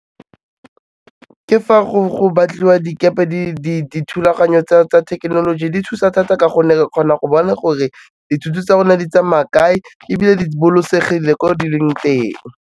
Ke fa go batliwa dikepe dithulaganyo tsa thekenoloji di thusa thata ka gonne re kgona go bona gore dithoto tsa rona di tsamaya kae, ebile di bolokesegile ko di leng teng.